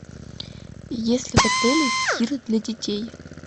есть ли в отеле тир для детей